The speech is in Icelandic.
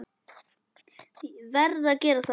Verð að gera það.